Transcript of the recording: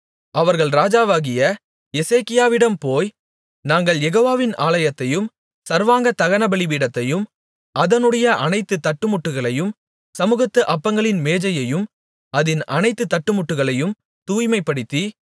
அவர்கள் ராஜாவாகிய எசேக்கியாவிடம் போய் நாங்கள் யெகோவாவின் ஆலயத்தையும் சர்வாங்க தகனபலிபீடத்தையும் அதனுடைய அனைத்து தட்டுமுட்டுகளையும் சமுகத்து அப்பங்களின் மேஜையையும் அதின் அனைத்து தட்டுமுட்டுகளையும் தூய்மைப்படுத்தி